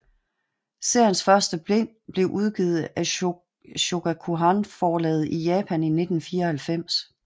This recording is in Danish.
Seriens første bind blev udgivet af Shogakukan forlaget i Japan i 1994